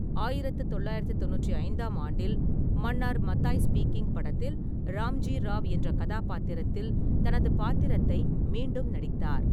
ஆயிரத்து தொள்ளாயிரத்து தொண்ணூற்றி ஐந்தாம் ஆண்டில், மன்னார் மத்தாய் ஸ்பீக்கிங் படத்தில் ராம்ஜி ராவ் என்ற கதாபாத்திரத்தில் தனது பாத்திரத்தை மீண்டும் நடித்தார்.